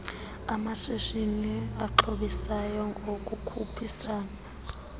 bamashishini axhobisayo ngokukhuphisana